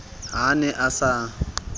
ha a ne a sa